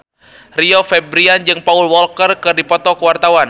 Rio Febrian jeung Paul Walker keur dipoto ku wartawan